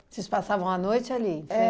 Vocês passavam à noite ali? É